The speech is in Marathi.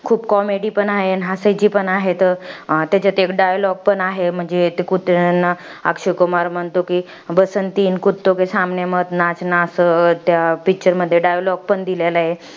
खूप comedy पण आहे, हसायची पण आहेत. त्याच्यात एक dialog पण आहे. म्हणजे ते कुत्र्यांना अक्षय कुमार म्हणतो कि, असं त्या picture मध्ये dialog पण दिलेला आहे.